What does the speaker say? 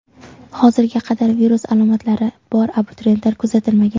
Hozirga qadar virus alomatlari bor abituriyentlar kuzatilmagan.